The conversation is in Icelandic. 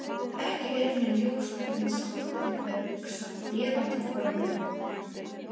Ekki er mér ljóst hvernig sambandið er hugsað eða til orðið.